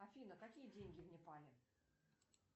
афина какие деньги в непале